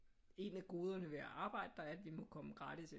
En af goderne ved at arbejde der er at vi må komme gratis ind